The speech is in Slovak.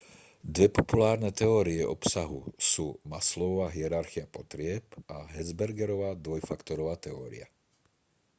dve populárne teórie obsahu sú maslowova hierarchia potrieb a hertzbergova dvojfaktorová teória